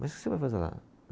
Mas o que você vai fazer lá?